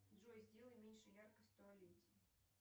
джой сделай меньше яркость в туалете